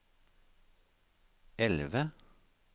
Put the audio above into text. elve